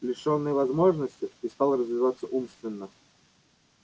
лишённый возможности и стал развиваться умственно